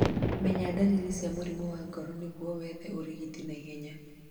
Menya ndariri cia mũrimũ wa ngoro nĩguo wethe ũrigiti naihenya